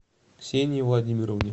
ксении владимировне